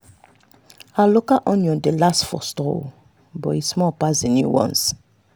our local onion dey last for store but e small pass the new ones.